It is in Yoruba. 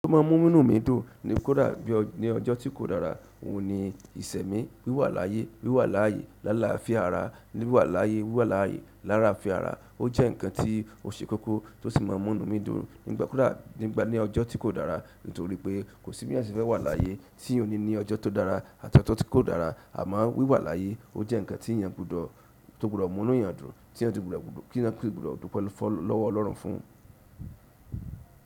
To ma ń mú inú mi dùn ní kódà bí ní ọjọ́ tí kò dára, òun ni ìṣẹ́ mi. Wíwà láyé, wíwà laáyé láláfia ara, wíwà láyé, wíwà laáyé láláfia ara. Ó jẹ́ ǹkan tí ó ṣe kókó tó sì máa ń mú inú mi dùn nígbà- kódà, nígbà ní ọjọ́ tí kò dára. Nítorí pé kò sí bí eeyan ṣe fẹ́ wà láyé tí o ní ní ọjọ́ tó dára àti ọjọ́ tí kò dára. Amo wíwà láyé. Ó jẹ́ ǹkan tí èèyàn gbọdọ̀, tó gbọdọ̀ mú inú èèyàn dùn, tí èèyàn tun gbọdọ̀ kí ẹ̀eyan si gbọdọ̀ dúpẹ́ lọ́wọ́ Ọlọ́run fún.